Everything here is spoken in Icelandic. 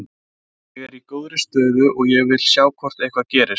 Ég er í góðri stöðu og ég vil sjá hvort eitthvað gerist.